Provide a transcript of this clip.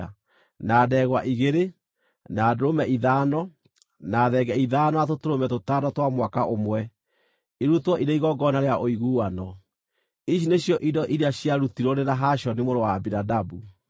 na ndegwa igĩrĩ, na ndũrũme ithano, na thenge ithano na tũtũrũme tũtano twa mwaka ũmwe, irutwo irĩ igongona rĩa ũiguano. Ici nĩcio indo iria ciarutirwo nĩ Nahashoni mũrũ wa Aminadabu.